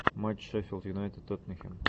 матч шеффилд юнайтед тоттенхэм